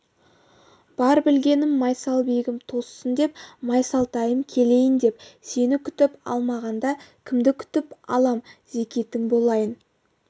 бар білгенім майсалбегім тоссын депті майсалтайым келейін депті сені күтіп алмағанда кімді күтіп алам зекетің болайын